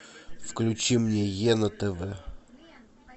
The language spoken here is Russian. включи мне е на тв